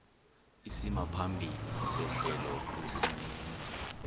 isimaphambili sehlelo kwisininzi